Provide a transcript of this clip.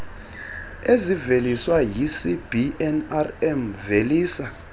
eziveliswa yicbnrm velisa